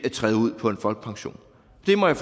at træde ud på en folkepension det må jeg